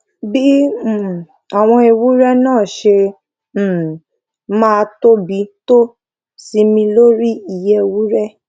bí um àwọn ewúré náà ṣe um máa tóbi tó sinmi lórí iye ewúré